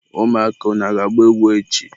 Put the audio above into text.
ụmụaka! unu ga-agba egwu echi!